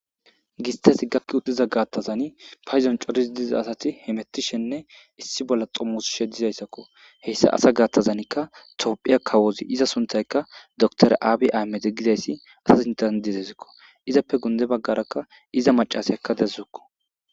Gistas gakki uttiza gaattazani payidon coris diza asati hemettishenne issi bolla xommosishe diza assakko. He issa asa gaattazanikka tophiya kawozi iza sunthayka dootoriya Aabi Aamede gidayssi asas intendizezikko izappe guye baggarakka iza macasiyakka de'azukko.